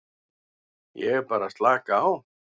Ég er bara að slaka á.